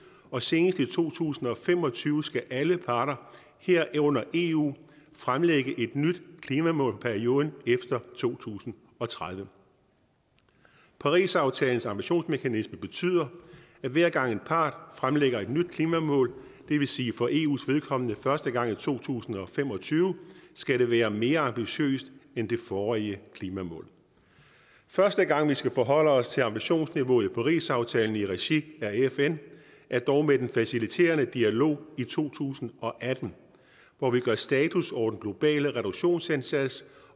og senest i to tusind og fem og tyve skal alle parter herunder eu fremlægge et nyt klimamål for perioden efter to tusind og tredive parisaftalens ambitionsmekanisme betyder at hver gang en part fremlægger et nyt klimamål det vil sige for eus vedkommende første gang i to tusind og fem og tyve skal det være mere ambitiøst end de forrige klimamål første gang vi skal forholde os til ambitionsniveauet i parisaftalen i regi af fn er dog med den faciliterende dialog i to tusind og atten hvor vi gør status over den globale reduktionsindsats